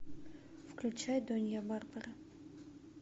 включай донья барбара